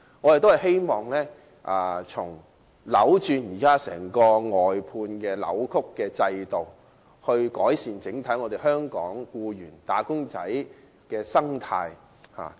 我們均希望能糾正現時扭曲的外判制度，以改善香港僱員、"打工仔"的整體生態。